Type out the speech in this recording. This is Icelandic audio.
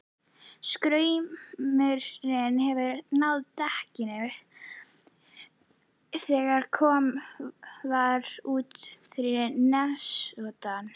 Straumurinn hefur náð dekkinu þegar komið var út fyrir nesoddann.